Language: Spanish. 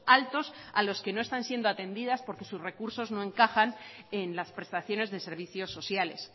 altos a los que no están siendo atendidas porque sus recursos no encajan en las prestaciones de servicios sociales